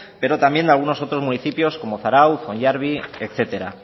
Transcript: pero también de algunos otros municipios como zarautz hondarribia etcétera